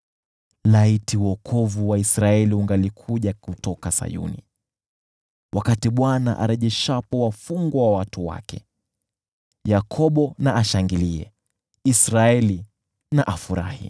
Laiti wokovu wa Israeli ungalikuja kutoka Sayuni! Wakati Bwana arejeshapo wafungwa wa watu wake, Yakobo na ashangilie, Israeli na afurahi!